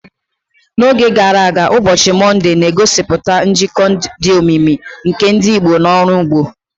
N'oge gara aga, ụbọchị Mọnde na-egosipụta njikọ dị omimi nke ndị Igbo na ọrụ ugbo.